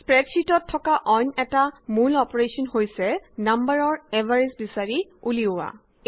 স্প্ৰেডশ্যিটত থকা অইন অটা মূল অপাৰেশ্যন হৈছে নাম্বাৰৰ এভাৰেজ বিছাৰি উলিওৱা